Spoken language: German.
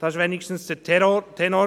dies war hier zumindest der Tenor.